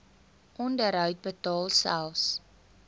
onderhoud betaal selfs